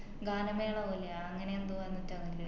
ഗാനമേള പോലെയാ അങ്ങനെ എന്തോ ആന്ന്റ്റാ അത്